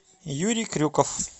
юрий крюков